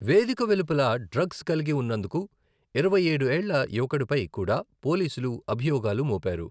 వేదిక వెలుపల డ్రగ్స్ కలిగి ఉన్నందుకు ఇరవైఏడు ఏళ్ల యువకుడిపై కూడా పోలీసులు అభియోగాలు మోపారు.